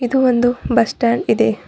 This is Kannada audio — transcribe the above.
ಇದು ಒಂದು ಬಸ್ ಸ್ಟಾಂಡ್ ಇದೆ.